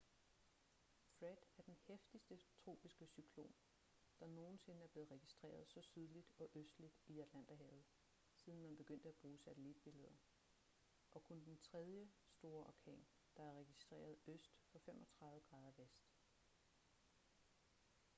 fred er den heftigste tropiske cyklon der nogensinde er blevet registreret så sydligt og østligt i atlanterhavet siden man begyndte at bruge satellitbilleder og kun den tredje store orkan der er registreret øst for 35°v